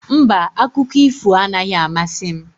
Mba, akụkọ ifo anaghị amasị m.